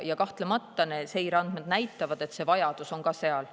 Ja seireandmed tõesti näitavad, et see vajadus on seal olemas.